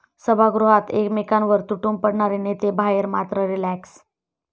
सभागृहात एकमेकांवर तुटून पडणारे नेते बाहेर मात्र रिलॅक्स!